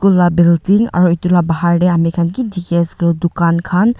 la building aro edu la bahar tae amikhan ki dikhiase koilae tu dukan khan.